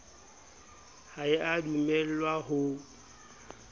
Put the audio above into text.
ha e a dumellwa ho